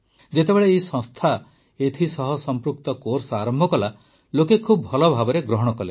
ଯେତେବେଳେ ଏହି ସଂସ୍ଥା ଏଥିସହ ସମ୍ପୃକ୍ତ କୋର୍ସ ଆରମ୍ଭ କଲା ଲୋକେ ଖୁବ୍ ଭଲଭାବେ ଗ୍ରହଣ କଲେ